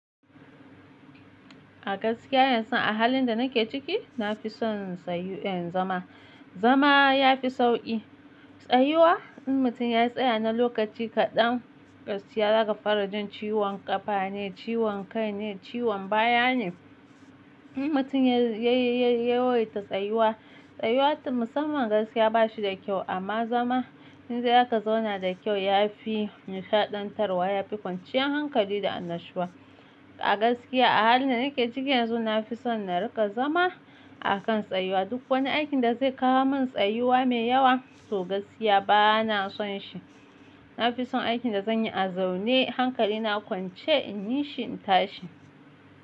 A gaskiya yanzu a halin da nake ciki, na fi son sayu in zama. Zama ya fi sauƙi. Tsayuwa in mutum ya tsaya na lokaci kaɗan gaskiya zaka fara jin ciwon ƙafa ne, ciwon kai ne, ciwon baya ne. In mutum ya, ya, ya, ya wayta tsayuwa, tsayuwa musamman gaskiya ba shi da kyau amma zama idan za ka zauna da kyau ya fi nishaɗantarwa, ya fi kwanciyar hankali da annashuwa. A gaskiya a halin da nake ciki yanzu na fi son na riƙa zama a kan tsayuwa. Duk wani aikin da zai kawo min tsayuwa mai yawa to gaskiya ba na son shi. Na fi son aikin da zan yi a zaune, hankali na kwance in yi shi in tashi.